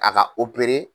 A ka